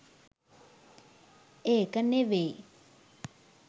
ඒක නෙවෙයි